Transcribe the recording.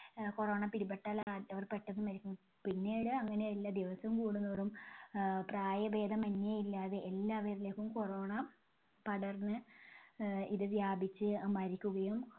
ആഹ് corona പിടിപെട്ടാൽ അവർ പെട്ടന്ന് മരിക്കും. പിന്നീട് അങ്ങനെയല്ല, ദിവസം കൂടുംതോറും ആഹ് പ്രായഭേദമന്യേ ഇല്ലാതെ എല്ലാവരിലേക്കും corona പടർന്ന് ആഹ് ഇത് വ്യാപിച്ച് മരിക്കുകയും